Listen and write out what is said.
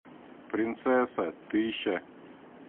принцесса тысяча